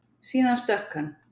Síðan stökk hann.